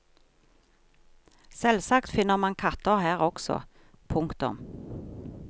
Selvsagt finner man katter her også. punktum